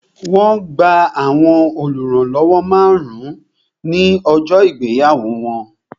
Wọn gba àwọn oluranlowo márùn-ún ní ọjọ́ ìgbéyàwó wọn